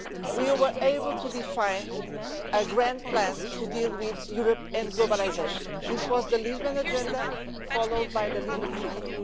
we were able to define a grand plan to deal with Europe and globalisation. This was the Lisbon Agenda, followed by the Lisbon Treaty.